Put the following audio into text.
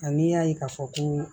Ani y'a ye ka fɔ ko